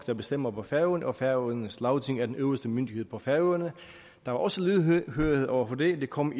der bestemmer på færøerne og at færøernes lagting er den øverste myndighed på færøerne der var også lydhørhed over for det det kom